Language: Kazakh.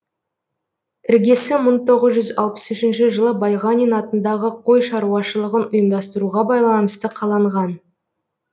іргесі мың тоғыз жүз алпысыншы жылы байғанин атындағы қой шарушалығын ұйымдастыруға байланысты қаланған